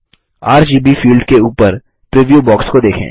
RGB field के ऊपर preview box को देखें